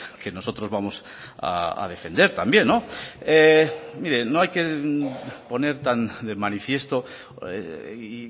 que nosotros vamos a defender también miren no hay que poner tan de manifiesto y